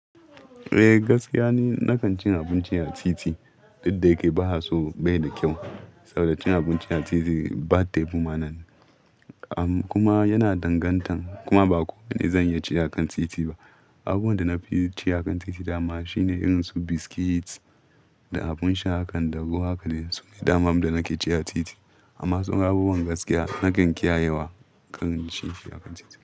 Eh gaskiya ne, na kan cin abinci a titi. Duk da yake ba haso bai da kyau, saboda cin abinci a titi ba tebu ma nan. Kuma yana dangantan, kuma ba kowane zanyi ci a kan titi ba. Abun da nafi ci a kan titi dama shine irin su biscuits da abun sha hakan da ruwa haka ne, sune daman da nake ci a titi. Amma tsawon abubuwan gaskiya nakan ƙiyayewa kan ci shi a kan titi.